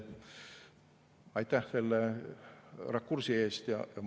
Aitäh selle rakursi eest!